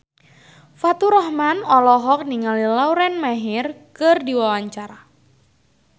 Faturrahman olohok ningali Lauren Maher keur diwawancara